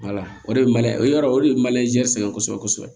o de ye o yɔrɔ o de ye sɛngɛ kosɛbɛ kosɛbɛ